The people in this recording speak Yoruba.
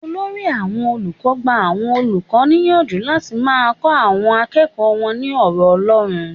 Olórí àwọn olùkọ́ gba àwọn olùkọ́ níyànjú láti máa kọ àwọn akẹ́kọ̀ọ́ wọn ní ọ̀rọ̀ Ọlọ́run.